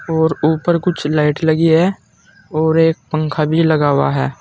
और ऊपर कुछ लाइट लगी है और एक पंखा भी लगा हुआ है।